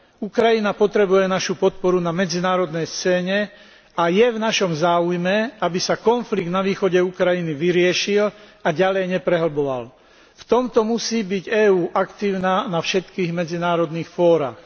Ukrajina potrebuje našu podporu na medzinárodnej scéne a je v našom záujme, aby sa konflikt na východe Ukrajiny vyriešil a ďalej neprehlboval. V tomto musí byť EÚ aktívna na všetkých medzinárodných fórach.